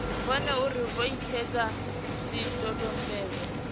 vhone uri vho etshedza zwidodombedzwa